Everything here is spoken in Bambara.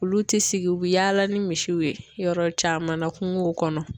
Olu tɛ sigi u bi yaala ni misiw ye, yɔrɔ caman na kungow kɔnɔ.